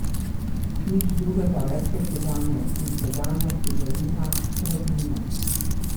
Nič drugega več kot sedanjost, in v sedanjosti belina, praznina.